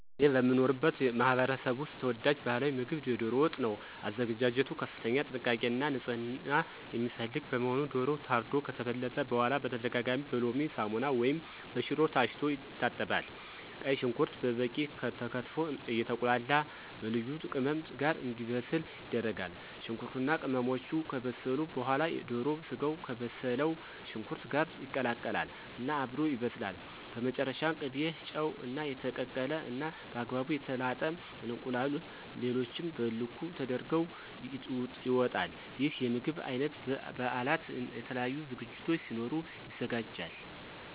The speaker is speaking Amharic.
እኔ በምኖርበት ማህበረሰብ ውስጥ ተወዳጅ ባህላዊ ምግብ የዶሮ ወጥ ነው። አዘገጃጀቱ ከፍተኛ ጥንቃቄ እና ንፅህና የሚፈልግ በመሆኑ ዶሮው ታርዶ ከተበለተ በኋላ በተደጋጋሚ በሎሚ፣ ሳሙና ወይም በሽሮ ታሽቶ ይታጠባል። ቀይ ሽንኩርት በበቂ ተከትፎ አየተቁላላ በልዩ ልዩ ቅመም ጋር እንዲበስል ይደረጋል። ሽንኩርቱ እና ቅመሞቹ ከበሰሉ በኋላ የዶሮ ስጋው ከበሰለው ሽንኩርት ጋር ይቀላቀል እና አብሮ ይበስላል። በመጨረሻም ቅቤ፣ ጨው፣ እና የተቀቀለ እና በአግባቡ የተላጠ እንቁላል ሌሎቹም በልኩ ተደርገው ይወጣል። ይህ የምግብ አይነት በ በበአላት፣ የተለያዩ ዝግጅቶች ሲኖሩ ይዘጋጃል።